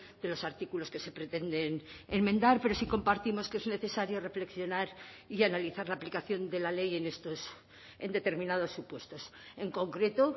de los artículos que se pretenden enmendar pero sí compartimos que es necesario reflexionar y analizar la aplicación de la ley en estos en determinados supuestos en concreto